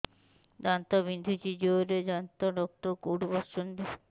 ଦାନ୍ତ ବିନ୍ଧୁଛି ଜୋରରେ ଦାନ୍ତ ଡକ୍ଟର କୋଉଠି ବସୁଛନ୍ତି